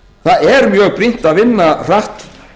það er mjög brýnt að vinna hratt